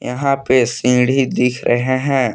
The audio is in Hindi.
यहां पे सींढ़ी दिख रहे हैं।